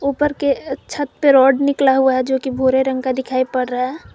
ऊपर के छत पर रॉड निकला हुआ है जो की भूरे रंग का दिखाई पड़ रहा है।